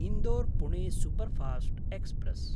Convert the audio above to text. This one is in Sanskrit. इन्दोर्–पुणे सुपरफास्ट् एक्स्प्रेस्